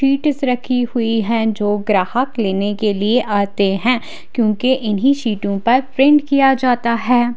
पिटेस रखी हुई हैं जो ग्राहक लेने के लिए आते हैं क्युकी इन्ही शीटो पर प्रिंट किया जाता हैं।